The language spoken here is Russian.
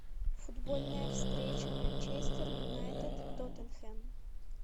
футбольная встреча манчестер юнайтед тоттенхэм